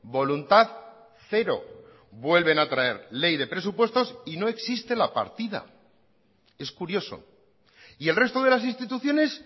voluntad cero vuelven a traer ley de presupuestos y no existe la partida es curioso y el resto de las instituciones